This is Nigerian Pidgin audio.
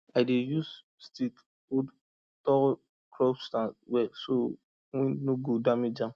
i dey use stick hold tall crop stand well so wind no go damage am